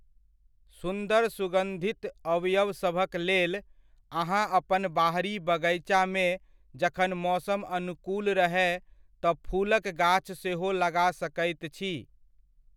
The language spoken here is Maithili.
सुन्दर सुगन्धित अवयवसभक लेल, अहाँ अपन बाहरी बगैचामे जखन मौसम अनुकूल रहय तँ फूलक गाछ सेहो लगा सकैत छी।